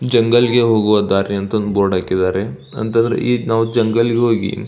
ಜಂಗಲ್ಗೆ ಹೋಗೋ ದಾರಿ ಅಂತ ಬೋರ್ಡ್ ಅಂತ ಅಂದ್ರೆ ಹಾಕಿದ್ದಾರೆ ಈಗ ನಾವ್ ಜಂಗಲ್ಗೆ ಹೋಗಿ --